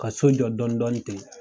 Ka so jɔ dɔɔnin dɔɔnin ten.